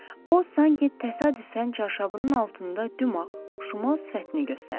O sanki təsadüfən çarşabının altında dümağ, şümal sifətini göstərdi.